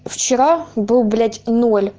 вчера был блять